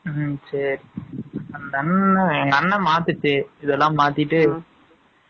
ம், சரி. அந்த அண்ணன், எங்க அண்ணன் மாத்துச்சு. இதெல்லாம் மாத்திட்டு